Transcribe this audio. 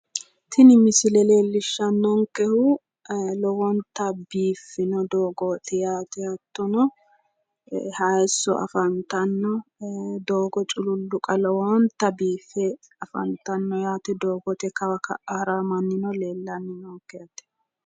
Tini misile leellishannonkehu lowonta biiffino doogooti yaate hattono hayisso afantanno doogo cululluqa lowonta biiffe afantanno yaate doogote kawa ka'a haranno mannino leellanni noonke